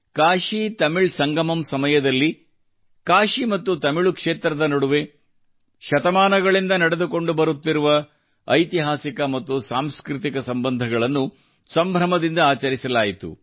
ಕಾಶಿತಮಿಳ್ ಸಂಗಮಮ್ ಸಮಯದಲ್ಲಿ ಕಾಶಿ ಮತ್ತು ತಮಿಳು ಕ್ಷೇತ್ರದ ನಡುವೆ ಶತಮಾನಗಳಿಂದ ನಡೆದುಕೊಂಡು ಬರುತ್ತಿರುವ ಐತಿಹಾಸಿಕ ಮತ್ತು ಸಾಂಸ್ಕೃತಿಕ ಸಂಬಂಧಗಳನ್ನು ಸಂಭ್ರಮದಿಂದ ಆಚರಿಸಲಾಯಿತು